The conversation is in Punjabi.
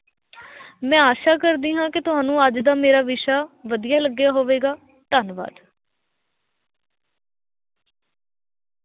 ਮੈਂ ਆਸ਼ਾ ਕਰਦੀ ਹਾਂ ਕਿ ਤੁਹਾਨੂੰ ਅੱਜ ਦਾ ਮੇਰਾ ਵਿਸ਼ਾ ਵਧੀਆ ਲੱਗਿਆ ਹੋਵੇਗਾ, ਧੰਨਵਾਦ।